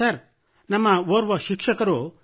sir ನಮ್ಮ ಓರ್ವ ಶಿಕ್ಷಕರು